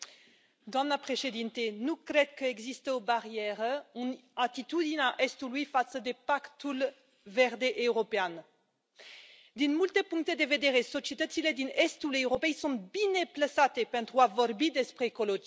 Doamnă președintă, nu cred că există o barieră în atitudinea Estului față de Pactul Verde European. Din multe puncte de vedere, societățile din estul Europei sunt bine plasate pentru a vorbi despre ecologie.